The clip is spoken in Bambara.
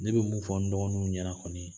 Ne bɛ mun fɔ n dɔgɔnun ɲɛna kɔni